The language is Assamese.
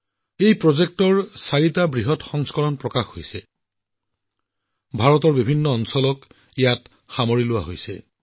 এই প্ৰকল্পত চাৰিটা ডাঙৰ খণ্ড আছে আৰু প্ৰতিটো খণ্ড ভাৰতৰ বেলেগ এটা অংশৰ বাবে উৎসৰ্গিত